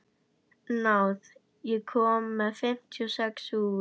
Náð, ég kom með fimmtíu og sex húfur!